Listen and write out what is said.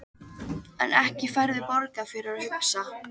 En ekki færðu borgað fyrir að hugsa?